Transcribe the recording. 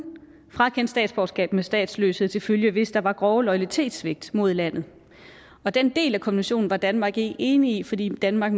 frakende statsborgerskab med statsløshed til følge hvis der var grove loyalitetssvigt mod landet den del af konventionen var danmark ikke enig i fordi danmark